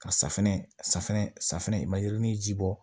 Ka safunɛ safinɛ safinɛ i ma yerinin ji bɔ